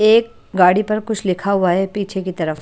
एक गाड़ी पर कुछ लिखा हुआ है पीछे की तरफ।